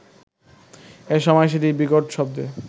এ সময় সেটি বিকট শব্দে